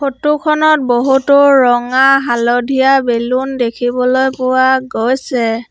Photo খনত বহুতো ৰঙা হালধীয়া বেলুন দেখিবলৈ পোৱা গৈছে।